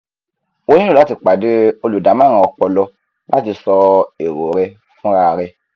o nílò láti pàdé olùdámọ̀ràn ọpọlọ láti sọ èrò rẹ fúnra rẹ